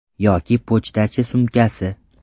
Yoki pochtachi sumkasi.